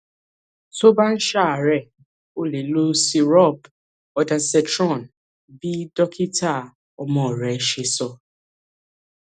tó o bá ń ṣàárẹ o lè lo syrup ondansetron bí dókítà ọmọ rẹ ṣe sọ